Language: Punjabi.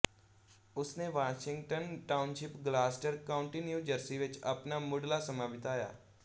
ਉਸਨੇ ਵਾਸ਼ਿੰਗਟਨ ਟਾਊਨਸ਼ਿਪ ਗਲਾਸਟਰ ਕਾਊਂਟੀ ਨਿਊ ਜਰਸੀ ਵਿੱਚ ਆਪਣਾ ਮੁੱਢਲਾ ਸਮਾਂ ਬਿਤਾਇਆ